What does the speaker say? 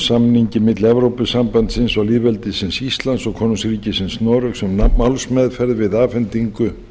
samningi milli evrópusambandsins og lýðveldisins íslands og konungsríkisins noregs um málsmeðferð við afhendingu